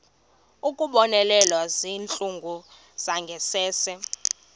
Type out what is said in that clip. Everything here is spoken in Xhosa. ukubonelela ngezindlu zangasese